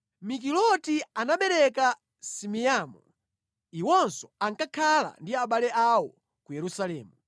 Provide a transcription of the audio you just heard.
Mikiloti anabereka Simeamu. Iwonso ankakhala ndi abale awo ku Yerusalemu.